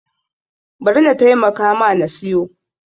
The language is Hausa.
Bari na taimaka ma na siyo.